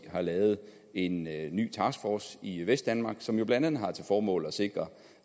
har lavet en ny taskforce i vestdanmark som jo blandt andet har til formål at sikre